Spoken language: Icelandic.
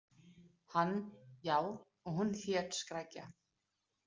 Hann: Já, og hún hét Skrækja.